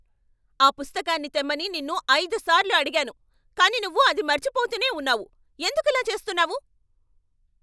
ఆ పుస్తకాన్ని తెమ్మని నిన్ను ఐదుసార్లు అడిగాను, కానీ నువ్వు అది మరచిపోతూనే ఉన్నావు, ఎందుకిలా చేస్తున్నావు?